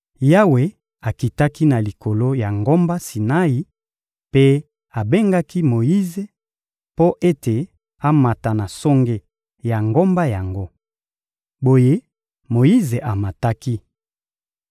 Yawe akitaki na likolo ya ngomba Sinai mpe abengaki Moyize mpo ete amata na songe ya ngomba yango. Boye Moyize amataki.